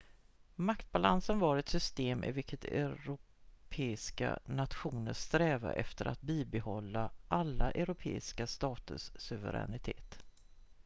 maktbalansen var ett system i vilket europeiska nationer strävade efter att bibehålla alla europeiska staters suveränitet